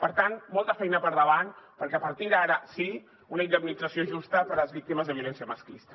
per tant molta feina per davant perquè a partir d’ara sí una indemnització justa per a les víctimes de violència masclista